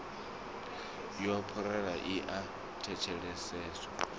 ya parole i a thetsheleswa